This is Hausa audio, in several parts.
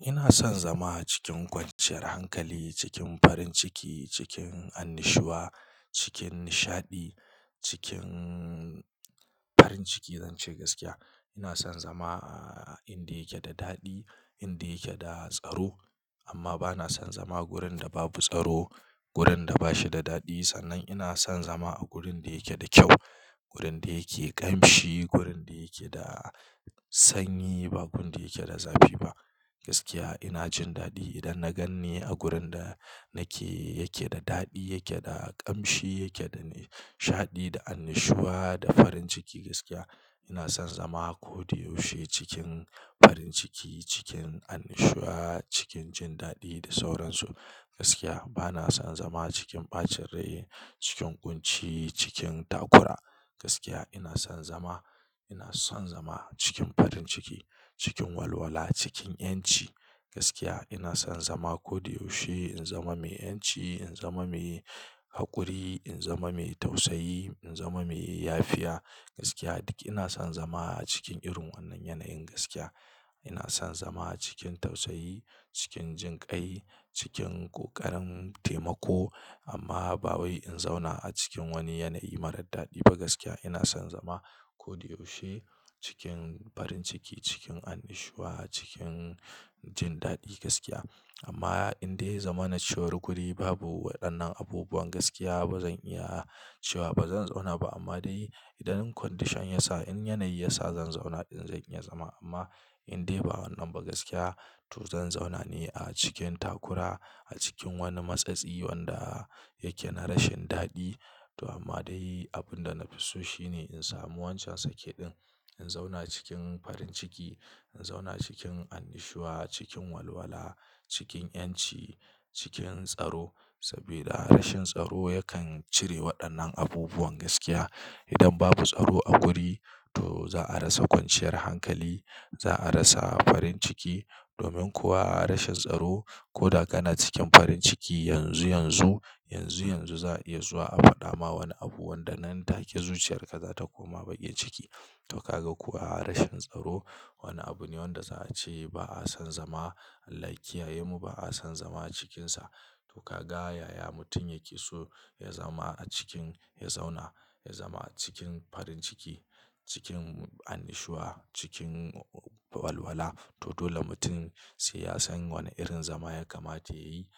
Ina son zama cikin kwanciyar hankali, cikin farin ciki, cikin annushuwa, cikin nishaɗi, cikin farin ciki. Zan ce gaskiya, ina son zama a inda yake da daɗi, inda yake da tsaro amma bana son zama wurin da babu tsaro, wurin da ba shi da daɗi. Sannan ina son zama a gurin da yake da kyau, gurin da yake ƙamshi, gurin da yake da sanyi, ba gun da yake da zafi ba. Gaskiya ina jin daɗi idan na ganni a gurin da nake yake da daɗi, yake da ƙamshi, yake da nishaɗi da annushuwa da farin ciki. Gaskiya ina son zama koyaushe cikin farin ciki, cikin annushuwa, cikin jin daɗi da sauransu. Gaskiya bana son zama cikin ɓacin rai, cikin ƙunci, cikin takura. Gaskiya ina son zama, ina son zama cikin farin ciki, cikin walwala, cikin 'yanci. Gaskiya ina son zama ko da yaushe in zama mai 'yanci, in zama mai haƙuri, in zama mai tausayi, in zama mai yafiya. Gaskiya duk ina son zama a cikin irin wannan yanayin. Gaskiya ina son zama cikin tausayi, cikin jinƙai, cikin ƙoƙarin taimako amma ba wai in zauna a cikin wani yanayi marar daɗi ba. Gaskiya ina son zama koyaushe cikin farin ciki, cikin annushuwa, cikin jin daɗi. Gaskiya amma indai yazama na cewar guri babu waɗannan abubuwan, gaskiya bazan iya cewa bazan zauna ba amma dai idan condition ya sa, in yanayi ya sa zan zauna ɗin zai iya zama amma indai ba wannan ba. Gaskiya to zan zauna ne a cikin takura, a cikin wani matsatsi wanda yake na rashin daɗi to amma dai abin da na fi so shine in samu wancan sake ɗin, in zauna cikin farin ciki, in zauna cikin annushuwa, cikin walwala, cikin 'yanci, cikin tsaro saboda rashin tsaro yakan cire waɗannan abubuwan. Gaskiya idan babu tsaro a guri to za a rasa kwanciyar hankali, za a rasa farin ciki domin kuwa a rashin tsaro koda kana cikin farin ciki yanzu yanzu, yanzu yanzu za a iya zuwa a faɗa ma wani abu wanda nan take zuciyarka za ta koma baƙin ciki. To kaga kuwa a rashin tsaro wani abu ne wanda za a ce ba a son zama, Allah ya kiyayemu ba a son zama cikinsa. To ka ga yaya mutum yake so ya zama a cikin, ya zauna, ya zama cikin farin ciki, cikin annushuwa, cikin walwala to dole mutum sai ya san wane irin zama ya kamata ya yi,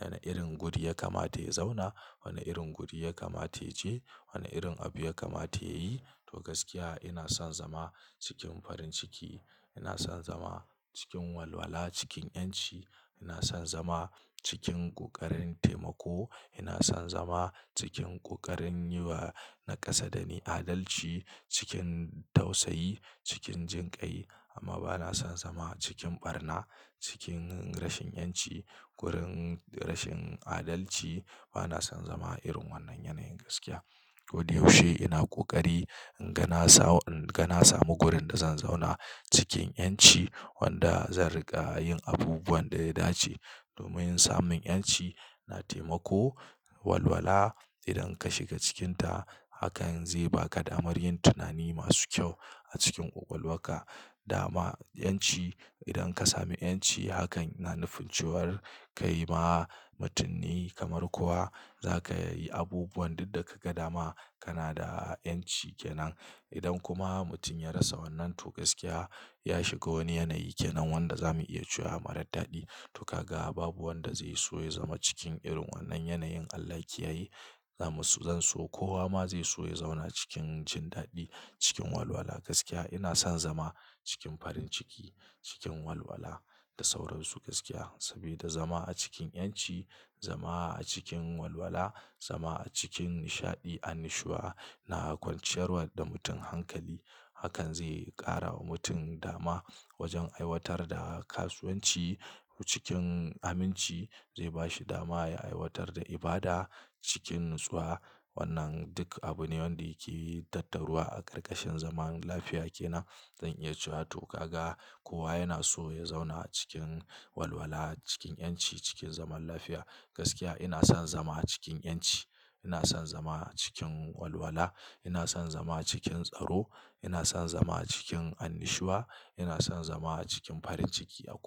wane irin guri ya kamata ya zauna, wane irin guri ya kamata ya je, wane irin abu ya kamata ya yi. To gaskiya ina son zama cikin farin ciki, ina son zama cikin walwala, cikin 'yanci, ina son zama cikin ƙoƙarin taimako, ina son zama cikin ƙoƙarin yi wa na kasa da ni adalci, cikin tausayi, cikin jinƙai amma bana son zama cikin ɓarna, cikin rashin 'yanci, gurin rashin adalci. Bana son zama irin wannan yanayin. Gaskiya koyaushe ina ƙoƙari in ga na sam, in ga na samu wurin da zan zauna cikin 'yanci wanda zan riƙa yin abubuwan da ya dace domin samun 'yanci na taimako. Walwala idan ka shiga cikinta hakan zai baka damar yin tunani masu kyau a cikin ƙwaƙwalwarka. Dama 'yanci idan ka sami 'yanci hakan na nufin cewar ka yi ma mutum ne kamar kowa, za ka yi abubuwan duk da ka ga dama kana da 'yanci ke nan. Idan kuma mutum ya rasa wannan to gaskiya ya shiga wani yanayi ke nan wanda zamu iya cewa marar daɗi. To ka ga babu wanda zai so ya zama cikin irin wannan yanayin. Allah ya ki yaye. Zamu so, zan so kowa ma zai so ya zauna cikin jin daɗi, cikin walwala. Gaskiya ina son zama cikin farin ciki, cikin walwala da sauransu. Gaskiya saboda zama a cikin 'yanci, zama a cikin walwala, zama a cikin nishaɗi, annushuwa na kwanciyar wa da mutum hankali. Hakan zai ƙara wa mutum dama wajen aiwatar da kasuwanci cikin aminci, zai bashi dama ya aiwatar da ibada cikin natsuwa. Wannan duk abu ne wanda yake tattaruwa a ƙarƙashin zaman lafiya ke nan zan iya cewa. To ka ga kowa yana so ya zauna cikin walwala, cikin 'yanci, cikin zaman lafiya. Gaskiya ina son zama cikin 'yanci, ina son zama cikin walwala, ina son zama cikin tsaro, ina son zama cikin annushuwa, ina son zama cikin farin ciki a ko.